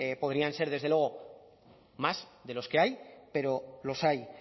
podrían ser desde luego más de los que hay pero los hay